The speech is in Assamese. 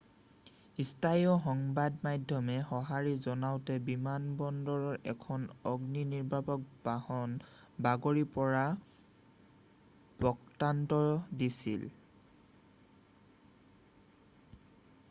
স্থানীয় সংবাদ মাধ্যমে সঁহাৰি জনাওতে বিমানবন্দৰৰ এখন অগ্নি নিৰ্বাপক বাহন বাগৰি পৰাৰ বৃত্তান্ত দিছিল